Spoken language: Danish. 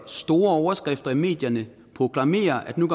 store overskrifter i medierne proklamerede at nu